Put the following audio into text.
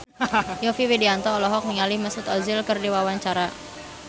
Yovie Widianto olohok ningali Mesut Ozil keur diwawancara